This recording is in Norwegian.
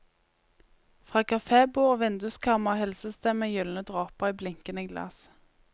Fra kafébord og vinduskarmer hilses det med gylne dråper i blinkende glass.